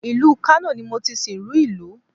Ìlú Kano ni mo ti sìnrú ìlú